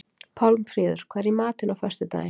Pálmfríður, hvað er í matinn á föstudaginn?